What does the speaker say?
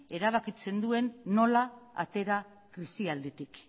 erabakitzen duen nola atera krisialditik